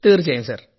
തീർച്ചയായും സർ